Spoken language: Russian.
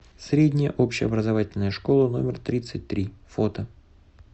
средняя общеобразовательная школа номер тридцать три фото